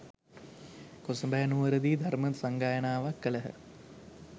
කොසඹෑ නුවරදී ධර්ම සංඝායනාවක් කළහ.